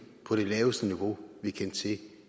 på det laveste niveau vi kendte til